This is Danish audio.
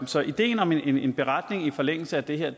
så ideen om en beretning i forlængelse af det her